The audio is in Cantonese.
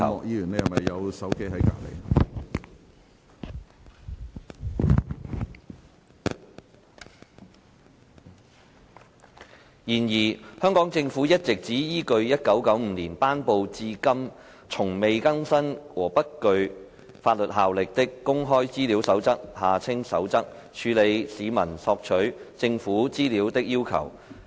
然而，香港政府一直只依據1995年頒布至今從未更新和不具法律效力的《公開資料守則》，處理市民索取政府資料的要求。